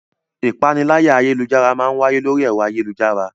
Ìpaniláyà ayélujára máa ń wáyé lórí ẹ̀rọ ayélujára